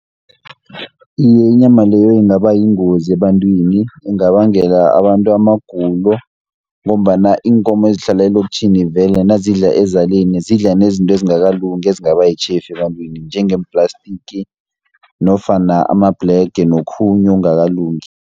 Iye inyama leyo ingaba yingozi ebantwini, ingabangela abantu amagulo, ngombana iinkomo ezihlala elokitjhini vele nazidla ezaleni, zidla nezinto ezingakalungi, ezingaba yitjhefu ebantwini, njengeem-plastic nofana amabhlege nokhunye okungakalungi.